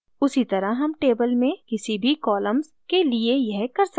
उसी तरह हम table में किसी भी columns के लिए यह कर सकते हैं